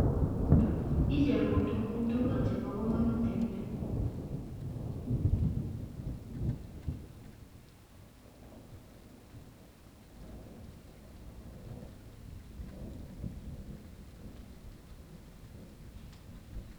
Icherun tukuk tukul chebo kamanut en yu